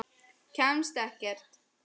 Kemst ekkert.